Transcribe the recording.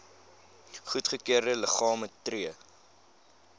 goedgekeurde liggame tree